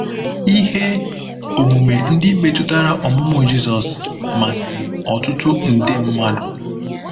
Ihe omume ndị metụtara ọmụmụ Jizọs masịrị ọtụtụ nde mmadụ.